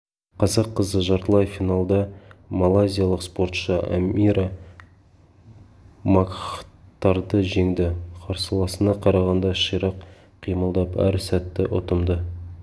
қазақ қызы жартылай финалда малайзиялық спортшы амира макхтарды жеңді қарсыласына қарағанда ширақ қимылдап әр сәтті ұтымды